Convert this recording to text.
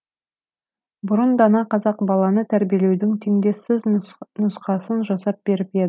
бұрын дана қазақ баланы тәрбиелеудің теңдессіз нұсқасын жасап беріп еді